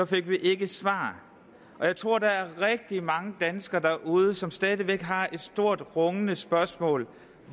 fik vi ikke et svar jeg tror at der er rigtig mange danskere derude som stadig væk har et stort rungende spørgsmål